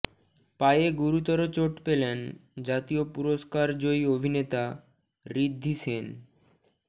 পায়ে গুরুতর চোট পেলেন জাতীয় পুরস্কার জয়ী অভিনেতা ঋদ্ধি সেন